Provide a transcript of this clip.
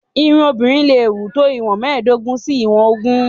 Irun obìnrin leè wù tó ìwọ̀n mẹ́ẹ̀dógún sí ìwọ̀n ogún.